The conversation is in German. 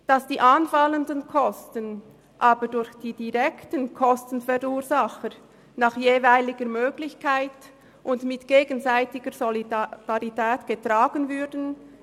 Wir fänden es aber interessant, wenn die anfallenden Kosten durch die direkten Kostenverursacher nach ihrer jeweiligen Möglichkeit und mit gegenseitiger Solidarität getragen würden;